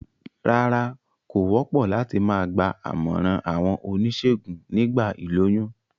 Rárá, kò wópò láti ma gba àmòràn àwon onísègùn nígba ìlóyún